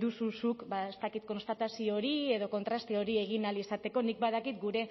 duzu zuk ba ez dakit konstatazio hori edo kontraste hori egin ahal izateko nik badakit gure